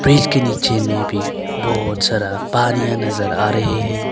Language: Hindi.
इसके नीचे में भी बहुत सारा पानिया नजर आ रही है।